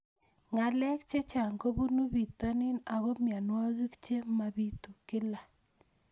Ng'alek chechang' kopunu pitonin ako mianwogik che mapitu kila